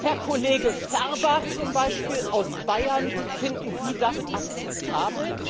Herr Kollege Ferber zum Beispiel, aus Bayern, finden Sie das akzeptabel?